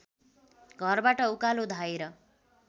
घरबाट उकालो धाएर